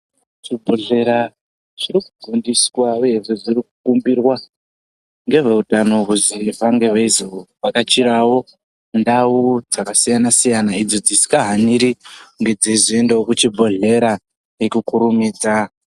Muzvibhedhlera zvirikufundiswa uyezve zvirikukumbirwa ngezveutano kuzi vafane veizovhakachirawo ndawu dzakasiyana siyana idzo dzisingahaniri kunge dzeizoendawo kuchibhedhlera ngekukurumidza.